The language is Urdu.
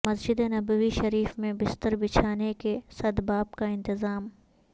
مسجد نبوی شریف میں بستر بچھانے کے سدباب کا انتظام